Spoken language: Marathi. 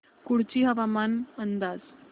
कुडची हवामान अंदाज